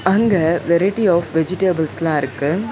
அங்க variety of வெஜ்டபிள்ஸ்லா இருக்கு.